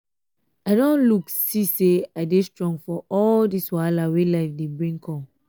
i don look see say i dey strong for all dis wahala wey life dey bring come